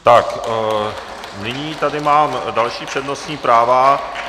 Tak nyní tady mám další přednostní práva.